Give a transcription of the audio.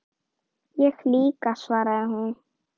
Ég líka, svaraði hún.